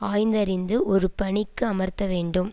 ஆய்ந்தறிந்து ஒரு பணிக்கு அமர்த்த வேண்டும்